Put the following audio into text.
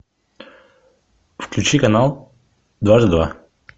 включи канал дважды два